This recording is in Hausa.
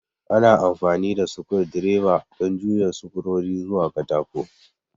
Ana amfani da sukur direba don juya sukurori zuwa katako